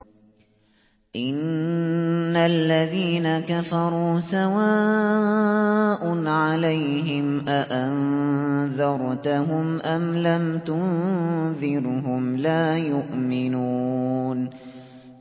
إِنَّ الَّذِينَ كَفَرُوا سَوَاءٌ عَلَيْهِمْ أَأَنذَرْتَهُمْ أَمْ لَمْ تُنذِرْهُمْ لَا يُؤْمِنُونَ